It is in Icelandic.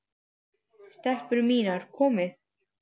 STELPUR MÍNAR, KOMIÐI!